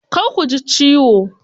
Kar ku ji ciwo.